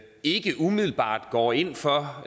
ikke umiddelbart går ind for